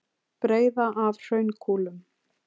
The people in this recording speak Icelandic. Breiða af hraunkúlum.